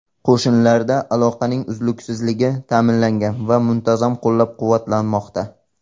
Qo‘shinlarda aloqaning uzluksizligi ta’minlangan va muntazam qo‘llab-quvvatlanmoqda.